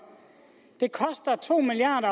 det koster to milliard